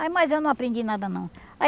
Aí, mas eu não aprendi nada, não.